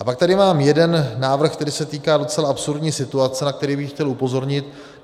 A pak tady mám jeden návrh, který se týká docela absurdní situace, na který bych chtěl upozornit.